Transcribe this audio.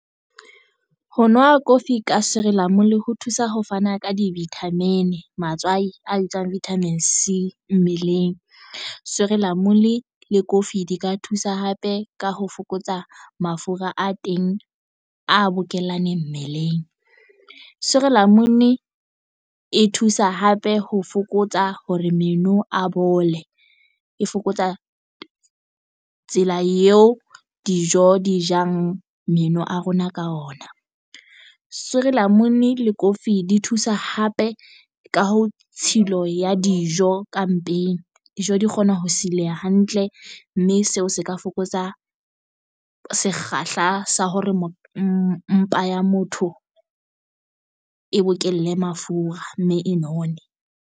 Ho nwa kofi ka sirilamunu le ho thusa ho fana ka di-vitamin matswai a bitswang vitamin c mmeleng. Sirilamunu le kofi di ka thusa hape ka ho fokotsa mafura a teng a bokellane mmeleng. Sirilamunu e thusa hape ho fokotsa hore meno a bole e fokotsa tsela eo dijo di jang meno a rona ka ona. Sirilamunu le kofi di thusa hape ka ho tshilo ya dijo ka mpeng. Dijo di kgona ho sileha hantle mme seo se ka fokotsa sekgahla sa hore mpa ya motho e bokelle mafura mme e none.